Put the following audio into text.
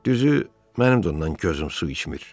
Düzü, mənim də ondan gözüm su içmir.